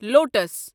lotus